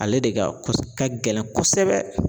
Ale de ka ka gɛlɛn kosɛbɛ.